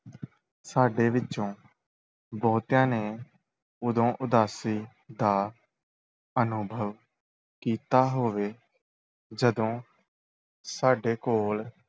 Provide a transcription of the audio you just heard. ਸਾਡੇ ਵਿੱਚੋਂ ਬਹੁਤਿਆਂ ਨੇ ਉਦੋਂ ਉਦਾਸੀ ਦਾ ਅਨੁਭਵ ਕੀਤਾ ਹੋਵੇ ਜਦੋਂ ਸਾਡੇ ਕੋਲ